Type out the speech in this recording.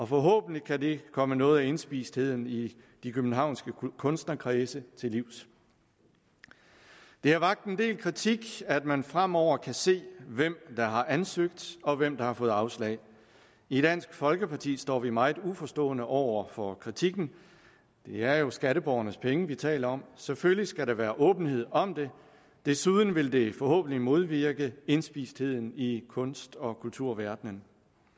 forhåbentlig kan det komme noget af indspistheden i de københavnske kunstnerkredse til livs det har vakt en del kritik at man fremover kan se hvem der har ansøgt og hvem der har fået afslag i dansk folkeparti står vi meget uforstående over for kritikken det er jo skatteborgernes penge vi taler om selvfølgelig skal der være åbenhed om det desuden vil det forhåbentlig modvirke indspistheden i kunst og kulturverdenen